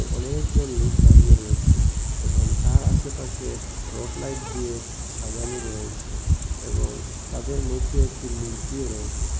অনেকজন লোক দাঁড়িয়ে রয়েছে এবং তার আশেপাশে রট লাইট দিয়ে সাজানো রয়েছে এবং তাদের মধ্যে একটি মূর্তিও রয়েছে।